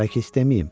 Bəlkə deməyim?